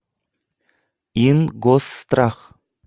ингосстрах